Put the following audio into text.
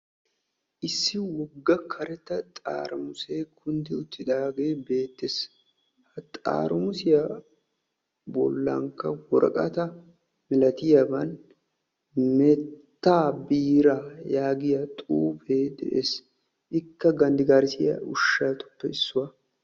Issi wogga karetta xaaramusee kunddi uttidaagee beettees. ha xaramusiyaa bollankka woraqataa milatiyaaban meettaa biiraa yaagiyaa xuufee de'ees. ikka ganddigarissiyaa ushshatuppe issuwaa.